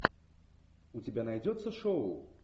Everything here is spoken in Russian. у тебя найдется шоу